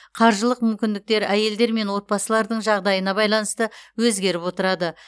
қаржылық мүмкіндіктер әйелдер мен отбасылардың жағдайына байланысты өзгеріп отырады